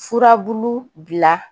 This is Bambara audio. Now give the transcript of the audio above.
Furabulu bila